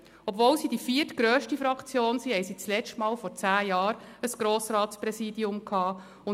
Obwohl sie die viertgrösste Fraktion sind, haben sie das letzte Mal vor zehn Jahren ein Grossratspräsidium gehabt.